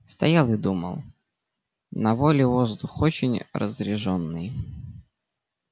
стоял и думал на воле воздух очень разрежённый